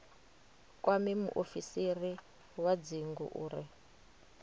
kwame muofisiri wa dzingu uri